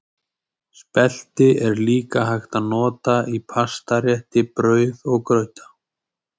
Spelti er líka hægt að nota í pastarétti, brauð og grauta.